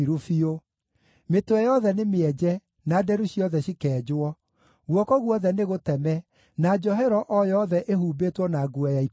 Mĩtwe yothe nĩmĩenje na nderu ciothe cikenjwo; guoko guothe nĩgũteme, na njohero o yothe ĩhumbĩtwo na nguo ya ikũnia.